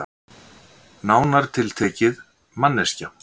Nánar tiltekið manneskja.